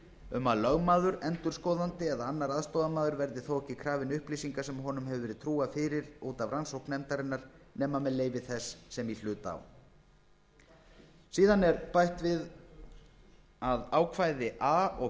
um að lögmaður endurskoðandi eða annar aðstoðarmaður verði þó ekki krafinn upplýsinga sem honum hefur verið trúað fyrir út af rannsókn nefndarinnar nema með leyfi þess sem í hlut á síðan er bætt við að ákvæði a og